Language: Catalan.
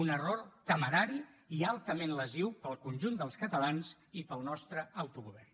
un error temerari i altament lesiu per al conjunt dels catalans i per al nostre autogovern